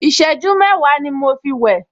Ìṣẹ́jú mẹ́wàá ni mo fi wẹ̀